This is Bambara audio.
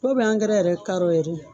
Dow bɛ angɛrɛ yɛrɛ karɔri.